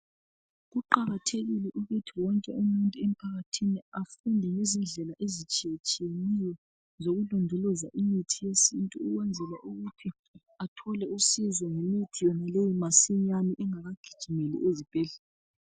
kuqakathekile ukuthi wonke umuntu emphakathini afundele izindlela ezitshiyatshiyeneyo zokulondoloza imithi yesintu ukwenzela ukuthi athole usizo ngemithi yonaleyi masinyane engakagijimeli ezibhedlela